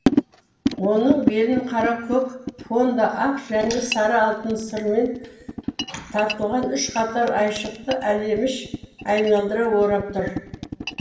оның белін қара көк фонда ақ және сары алтын сырмен тартылған үш қатар айшықты әлеміш айналдыра орап тұр